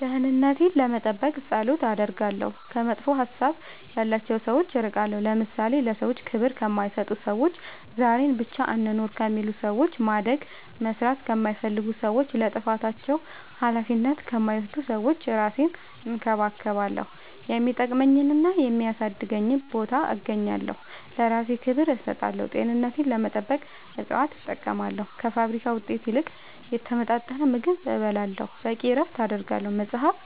ደህንነቴን ለመጠበቅ ፀሎት አደርጋለሁ ከመጥፎ ሀሳብ ያላቸው ሰዎች እርቃለሁ ለምሳሌ ለሰዎች ክብር ከማይሰጡ ሰዎች ዛሬን ብቻ እንኑር ከሚሉ ሰዎች ማደግ መስራት ከማይፈልጉ ሰዎች ለጥፋታቸው አላፊነት ከማይወስዱ ሰዎች እራሴን እንከባከባለሁ የሚጠቅመኝና የሚያሳድገኝ ቦታ እገኛለሁ ለእራሴ ክብር እሰጣለሁ ጤንነቴን ለመጠበቅ እፅዋት እጠቀማለሁ ከፋብሪካ ውጤት ይልቅ የተመጣጠነ ምግብ እበላለሁ በቂ እረፍት አደርጋለሁ መፅአፍ